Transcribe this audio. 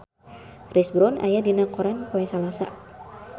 Chris Brown aya dina koran poe Salasa